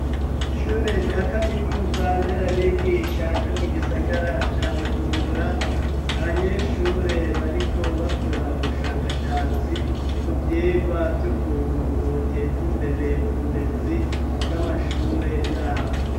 Ishure rya Kaminuza Nderabigisha ryo mu gisagara ca Bujumbura, abanyeshure bariko bakora ubushakashatsi ku vyigwa vy'ukuntu boteza imbere uburezi bw'amashure yabo.